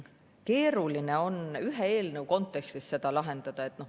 Keeruline on ühe eelnõu kontekstis seda lahendada.